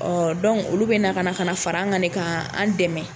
olu bɛ na ka na ka na fara an kan ne ka an dɛmɛ.